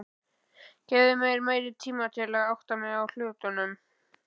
Gefðu mér meiri tíma til að átta mig á hlutunum.